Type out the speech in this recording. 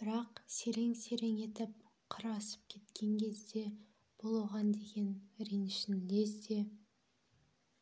бірақ серең-серең етіп қыр асып кеткен кезде бұл оған деген ренішін лезде